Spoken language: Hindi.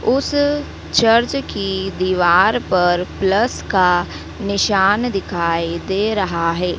उस चर्च की दीवार पर प्लस का निशान दिखाई दे रहा है।